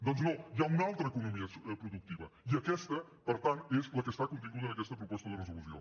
doncs no hi ha una altra economia productiva i aquesta per tant és la que està continguda en aquesta proposta de resolució